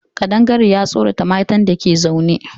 Ƙadangare ya tsorata matan dake zaune